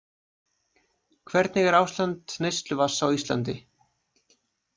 Hvernig er ástand neysluvatns á Íslandi?